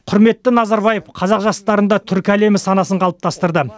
құрметті назарбаев қазақ жастарында түркі әлемі санасын қалыптастырды